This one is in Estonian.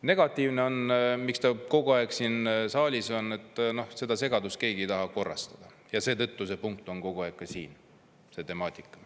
Negatiivne on, miks ta kogu aeg siin saalis on, et seda segadust keegi ei taha korrastada ja seetõttu see punkt on kogu aeg ka siin, see temaatika.